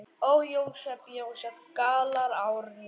Ó, Jósep, Jósep, galar Árný.